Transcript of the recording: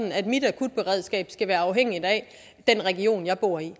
at mit akutberedskab skal være afhængig af den region jeg bor i